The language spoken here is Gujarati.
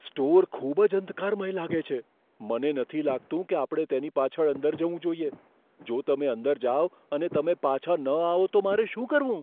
સ્ટોર ખૂબ જ અંધકારમય લાગે છે. મને નથી લાગતું કે આપણે તેની પાછળ અંદર જવું જોઈએ. જો તમે અંદર જાઓ અને તમે પાછા ન આવો તો મારે શું કરવું?